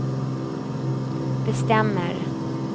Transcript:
bestämmer